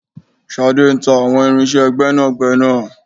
Ṣadé ń ta àwọn irinṣẹ́ gbẹ́nàgbẹ́nà.